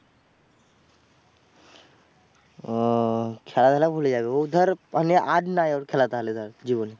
ওহ খেলা ধুলা ভুলে যাবে ও ধর তাহলে আর নয় ওর খেলা থালে ধর জীবনে।